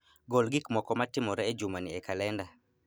Gol gik moko matimore e jumani e kalenda